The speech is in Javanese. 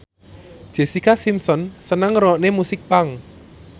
Jessica Simpson seneng ngrungokne musik punk